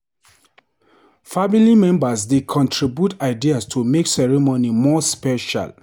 Family members dey contribute ideas to make ceremony more special.